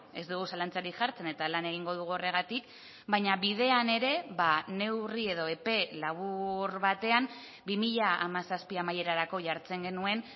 ez dugu zalantzarik jartzen eta lan egingo dugu horregatik baina bidean ere neurri edo epe labur batean bi mila hamazazpi amaierarako jartzen genuen